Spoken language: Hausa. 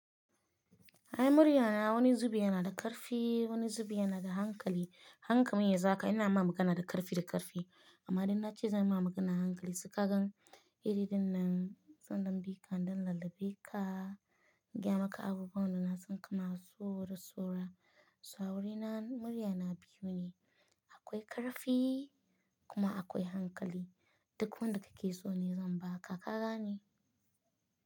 Ai murya na wani zubi yana da ƙarfi, wani zubi yana da hankali. Hankamin ya zaka ina ma magana da ƙarfi da ƙarfi amma idan na ce zan ma magana da hankali suka gan iririn nan sun ɗan bika ɗan lullube ka gaya maka abubuwan da na san kana so da saura. Sa'a wurina murya na biyu ne. Akwai ƙarfi kuma akwai hankali duk wanda kake so ne zan baka ka gane.